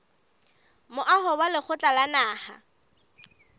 moaho wa lekgotla la naha